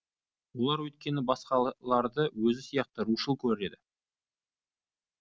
олар өйткені басқаларды өзі сияқты рушыл көреді